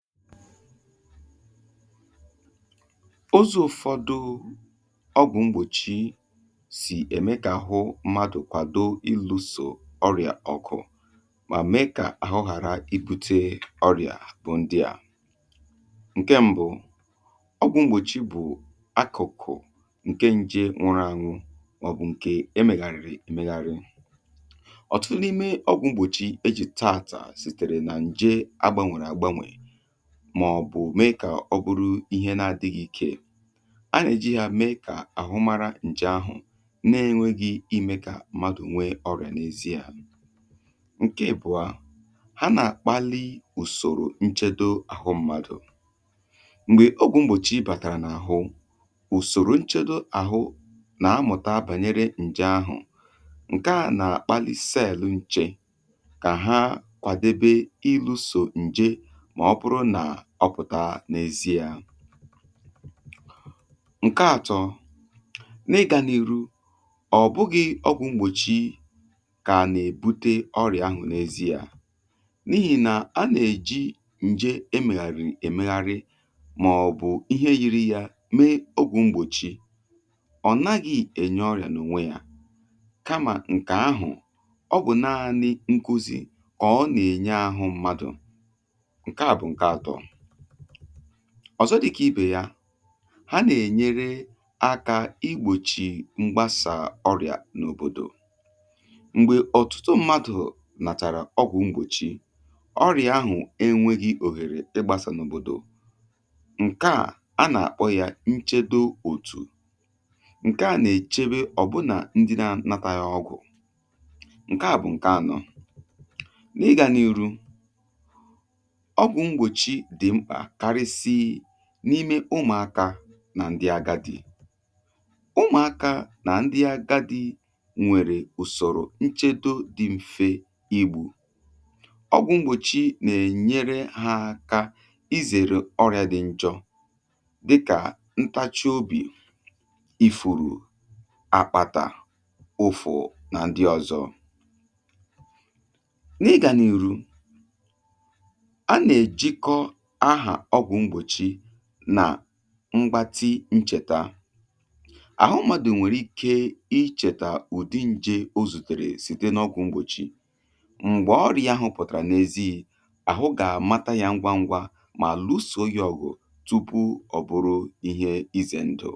Ụzọ ụfọdụ ọgwụmgbọchị si eme ka ahụ mmadụ kwado ịlụ so ọrịa ọgụ ma mee ka ahụghara ibute ọrịa bụ ndị a; Nkè mbụ, ọgwụgbọchị bụ akụkụ nke nje nwụrụ anwụ maọbụ nke emegharịrị emegharị. Ọtụtụ n’ime ọgwụgbọchị eji taata sitere na nje agbanwere agbanwe, màọ̀bụ̀ mee kà ọ bụrụ ihe na-adị̇ ghị ikė. A nà-èjighị̀ à mee kà àhụ mara ǹjè ahụ̀ na-enweghi ime kà mmadụ̀ nwee ọrịà n’ezi yȧ. Nkè ịbùọ, ha nà-àkpali ùsòrò nchedo àhụ mmadụ̀. Mgbè ogwụ̇ m̀bọ̀chì ibàtàrà n’àhụ, ùsòrò nchedo àhụ nà-amụ̀ta bànyere ǹjè ahụ̀, ǹke à nà-àkpali cèèlụ̀ nchè kà ha kwàdebe ịlụ̇sò ǹjè mà ọbụrụ nà ọpụtá nà ezi yà. Nkè àtọ, nị gànèru, ọ̀ bụghị̇ ọ bụ̀ m̀gbòchi kà nà-èbute ọrịà ahụ̀ n’ezi yȧ, n’ihì nà a nà-èji ǹje emèghàrị̀ èmèghari, màọ̀bụ̀ ihe yiri yȧ mee ọgwụ̇ m̀gbòchi. Ọ̀ naghị̇ ènye ọrịà n’ùnwe yȧ, kamà ǹkè ahụ̀, ọ bụ̀ nanị nkuzì ọ̀ọ nà-ènye àhụ mmadụ̀, nkèà bụ nkè àtọ. Ọzọ dịkà ibè ya, ha nà-ènyere aka igbòchi mgbasà ọrịà n’òbòdò. Mgbè ọ̀tụtụ mmadụ̀ nàchàrà ọgwụ̀ mgbòchi, ọrịà ahụ̀ enwėghi òhèrè ịgbàsà n’òbòdò. Nkè a nà-àkpọ ya nchedo òtù, ǹkè a nà-èchebe ọ̀bụnà ndị na nata gha ọgwụ̀, ǹkè a bụ̀ ǹkè anọ. N’ịgȧ n’ihu, ọgwụ mgbòchí dị mkpà kárịsii n’ime ụmụ̀akȧ nà ndị agadi. Ụmụ̀akȧ nà ndị agadi nwèrè ùsọ̀rọ̀ nchedo dị mfe igbò. Ọgwụ̀ mgbòchi nà-ènyere ha aka izèrè ọrịa dị njọ, dịkà; ntȧchi obì, ifùrù, àkpàtà, ụfụ̀ nà ndị ọ̀zọ. N’ịgànị̀rụ, á nà-ejikọ áhà ọgwụ mgbòchí nà mgbatị nchètà. Àhụ mmadụ̀ nwèrè ike ịchèta ụ̀dị nje ozùtèrè site n’ọgwụ̇ mgbòchì m̀gbè ọrị̇ȧ ahụ̀ pụ̀tàrà n’èzìì, àhụ gà-àmata ya ngwa ngwa mà lụsooya ọ̀gụ̀, tụpụ ọ̀ bụrụ ihe ize ndụ.